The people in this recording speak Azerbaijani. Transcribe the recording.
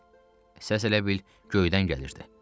Səs elə bil göydən gəlirdi.